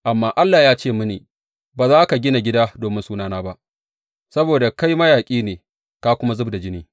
Amma Allah ya ce mini, Ba za ka gina gida domin Sunana ba, saboda kai mayaƙi ne ka kuma zub da jini.’